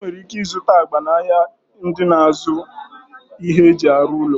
Ị nwere ike ịzụta agba n'ahịa ndị na-azụ ihe e ji arụ ụlọ.